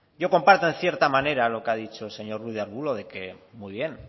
yo comparto en cierta manera lo que ha dicho el señor ruiz de arbulo de que muy bien